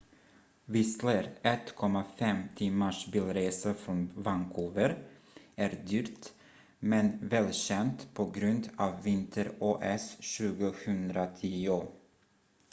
whistler 1,5 timmars bilresa från vancouver är dyrt men välkänt på grund av vinter-os 2010